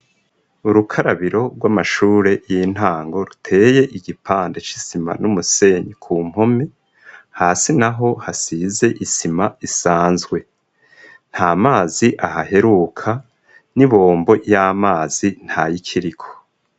Urukarabiro rw'amashure y'intango ruteye igipande c'isima n'umusenyi ku mpome hasi naho hasize isima isanzwe nta mazi ahaheruka n'ibombo y'amazi nta y'ikiriko.